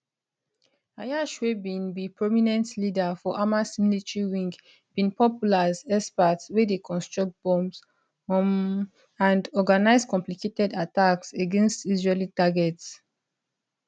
ayyash wey bin be prominent leader for hamas military wing bin popular as expert wey dey construct bombs um and organise complicated attacks against israeli targets